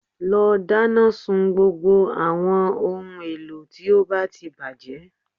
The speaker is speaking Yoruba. Lọ dáná sun gbogbo àwọn ohun èlò tí ó ti bàjẹ́